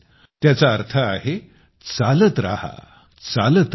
त्याचा अर्थ आहे चालत रहा चालत रहा